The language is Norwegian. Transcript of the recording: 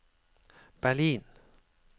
Berlin